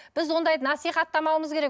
біз ондайды насихаттамауымыз керек